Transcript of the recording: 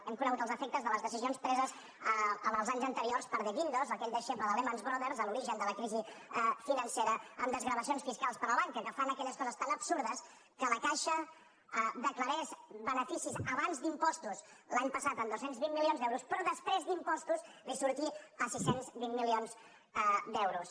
hem conegut els efectes de les decisions preses en els anys anteriors per de guindos aquell deixeble de lehman brothers a l’origen de la crisi financera en desgravacions fiscals per a la banca que fan aquelles coses tan absurdes que la caixa declarés beneficis abans d’impostos l’any passat amb dos cents i vint milions d’euros però després d’impostos li sortís a sis cents i vint milions d’euros